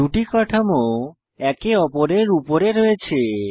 দুটি কাঠামো একে অপরের উপরে রয়েছে